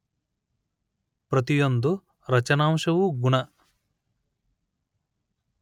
ಪ್ರತಿಯೊಂದು ರಚನಾಂಶವೂ ಗುಣ